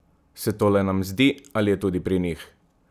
Se to le nam zdi, ali je tudi pri njih?